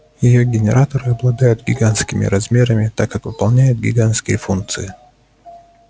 её генераторы обладают гигантскими размерами так как выполняют гигантские функции